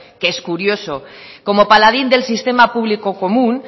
que es curioso como paladín del sistema público común